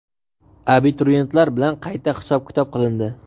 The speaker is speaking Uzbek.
Abituriyentlar bilan qayta hisob-kitob qilindi.